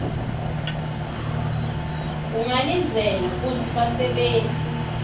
ungalindzela kutsi basebenti